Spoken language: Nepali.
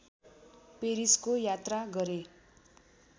पेरिसको यात्रा गरे